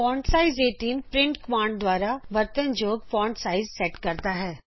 font size 18printਕਮਾਂਡ ਦੁਆਰਾ ਵਰਤਨ ਯੋਗ ਫਾਂਟ ਸਾਇਜ਼ ਸੈਟ ਕਰਦਾ ਹੈ